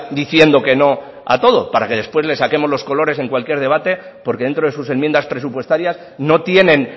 diciendo que no a todo para que después les saquemos los colores en cualquier debate porque dentro de sus enmiendas presupuestarias no tienen